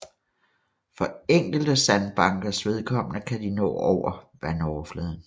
For enkelte sandbankers vedkommende kan de nå over vandoverfladen